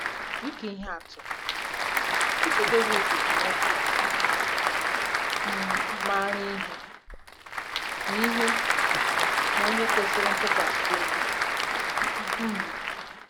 Dị ka ihe atụ, Eze Devid bụ nwoke um maara ihe na ihe na onye kwesịrị ntụkwasị obi. um